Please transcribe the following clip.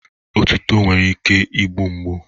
Otuto nwere ike na-egbu mgbu.